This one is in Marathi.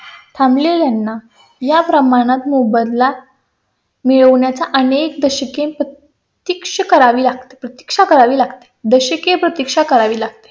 थांबले ना या प्रमाणात मोबदला मिळवण्याचा अनेक दशके शिक्षा करावी लागते. प्रतीक्षा करावी लागते. दशके प्रतीक्षा करावी लागते